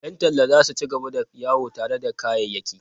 Yan talla za su ci gaba da yawo tare da kayayyaki.